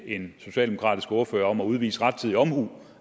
en socialdemokratisk ordfører om at udvise rettidig omhu